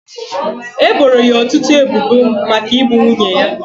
E boro ya ọtụtụ ebubo maka igbu nwunye ya.